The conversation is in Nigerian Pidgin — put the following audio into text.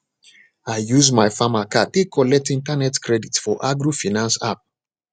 i use my farmer card take collect internet credit for agrofinance app